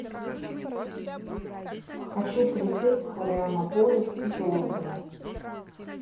хочу полететь в флорианополис из лондона